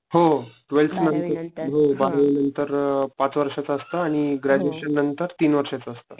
हो टवेल्थ नंतर, हो बारावी नंतर अ पाच वर्षा चा असतो आणि ग्रॅजुएशन नंतर तीन वर्षाच असत